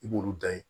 I b'olu dan ye